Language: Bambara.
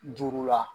Duuru la